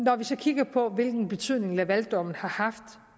så kigger på hvilken betydning lavaldommen har haft